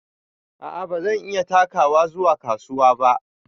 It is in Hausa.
A'a bazan iya takawa zuwa kasuwa ba.